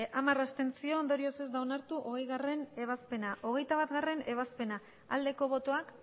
hamar abstentzio ondorioz ez da onartu hogeigarrena ebazpena hogeita batgarrena ebazpena aldeko botoak